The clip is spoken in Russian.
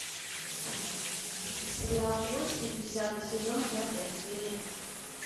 сериал кости десятый сезон пятая серия